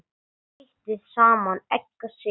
Þeytið saman egg og sykur.